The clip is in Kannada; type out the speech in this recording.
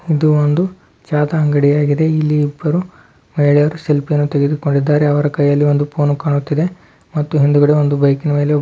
ಇದೊಂದು ಯಾವುದು ಅಂಗಡಿ ಆಗಿದೆ ಇಬ್ಬರು ಮಹಿಳೆಯರು ಸೆಲ್ಫಿ ತೆಗೆದುಕೊಳ್ಳುತ್ತಾರೆ ಅವರ ಕೈಯಲ್ಲಿ ಒಂದು ಫೋನ್ ಕಾಣ್ತಾ ಇದೆ ಹಿಂದೆ ಒಂದು ಬೈಕಿದೆ .